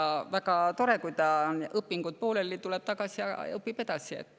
Ja see on väga tore, et kui tal õpingud pooleli, siis ta tuleb tagasi ja õpib edasi.